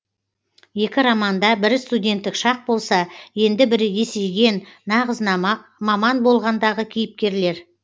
екі романда бірі студенттік шақ болса енді бірі есейген нағыз маман болғандағы кейіпкерлер